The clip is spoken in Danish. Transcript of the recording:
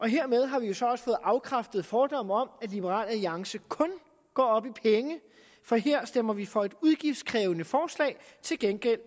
hermed har vi jo så også fået afkræftet fordommene om at liberal alliance kun går op i penge for her stemmer vi for et udgiftskrævende forslag for til gengæld